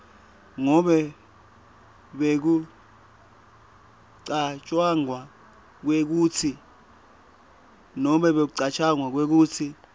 ngobe bekucatjwanga kwekutsi